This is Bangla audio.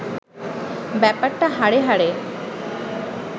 ব্যাপারটা হাড়ে হাড়ে